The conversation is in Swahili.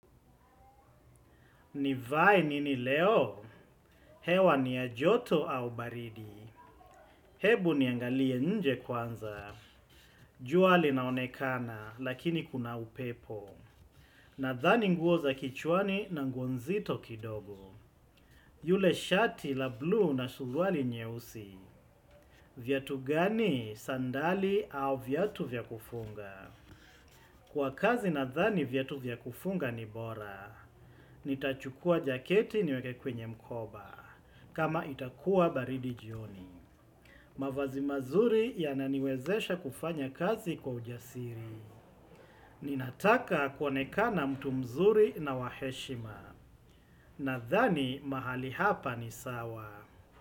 Nivae nini leo? Hewa ni ya joto au baridi? Hebu niangalie nje kwanza. Jua linaonekana, lakini kuna upepo. Nadhani nguo za kichwani na nguo nzito kidogo. Yule shati la blue na suruali nyeusi. Viatu gani? Sandali au viatu vya kufunga? Kwa kazi nadhani viatu vya kufunga ni bora. Nitachukua jaketi niweke kwenye mkoba. Kama itakuwa baridi jioni. Mavazi mazuri yananiwezesha kufanya kazi kwa ujasiri. Ninataka kuonekana mtu mzuri na wa heshima. Nadhani mahali hapa ni sawa.